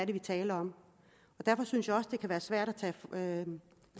vi taler om derfor synes jeg også at det kan være svært at tage